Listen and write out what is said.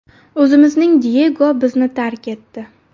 O‘zimizning Diyego bizni tark etdi.